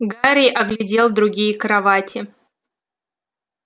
гарри оглядел другие кровати